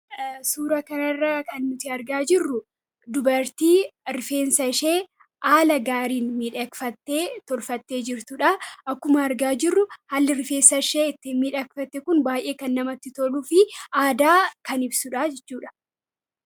Suura kana irraa kan nuti argaa jirru dubartii rifeensa ishee haala gaariin miidhagfattee tolfattee jirtuudha. Akkuma argaa jirru haalli rifeensa ishee itti miidhagfatte kun baay'ee kan namatti toluu fi aadaa kan ibsuudha jechuudha.